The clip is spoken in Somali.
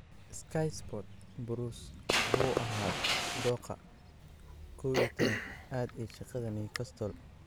(Sky Sports) Bruce 'wuxuu ahaa dooqa 11-aad' ee shaqada Newcastle.